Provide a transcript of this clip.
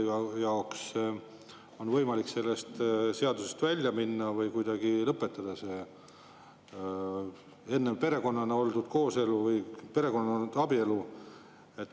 Kas neil on võimalik sellest seadusest välja minna või kuidagi lõpetada see enne perekonnana olnud kooselu või abielu?